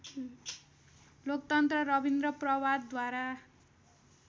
लोकतन्त्र रविन्द्र प्रभातद्वारा